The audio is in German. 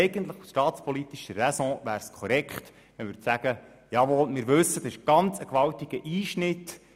Aus staatspolitischer Räson wäre es eigentlich korrekt zu sagen: «Jawohl, wir wissen, es ist ein ganz gewaltiger Einschnitt.